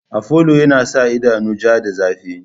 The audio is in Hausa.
Afolo yana sa idanu ja da zafi.